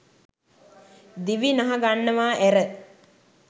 දිවි නහගන්නවා ඇර